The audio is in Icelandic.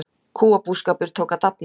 Kúabúskapur tók að dafna á ný.